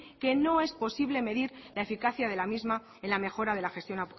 que no es posible medir la eficacia de la misma en la mejora de la gestión